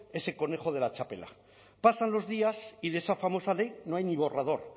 ese conejo de la txapela pasan los días y de esa famosa ley no hay ni borrador